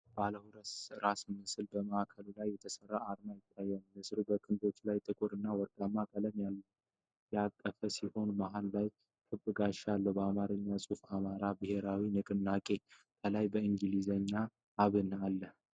ባለ ሁለት ራስ ንስር በማዕከል ላይ የተሠራ አርማ ይታያል። ንስሩ በክንፎቹ ላይ ጥቁር እና ወርቃማ ቀለሞችን ያቀፈ ሲሆን መሀል ላይ ክብ ጋሻ አለ። የአማርኛ ጽሑፍ "የአማራ ብሔራዊ ንቅናቄ (አብን)" ከላይ፣ በእንግሊዝኛ አለ፡፡